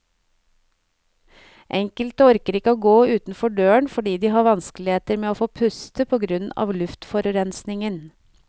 Enkelte orker ikke å gå utenfor døren fordi de har vanskeligheter med å få puste på grunn av luftforurensningen.